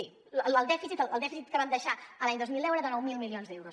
sí el dèficit que van deixar l’any dos mil deu era de nou mil milions d’euros